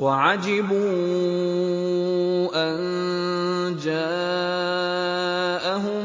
وَعَجِبُوا أَن جَاءَهُم